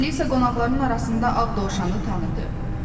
Alisa qonaqların arasında ağ dovşanı tanıdı.